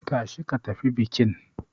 Tashi ka tafi bikin.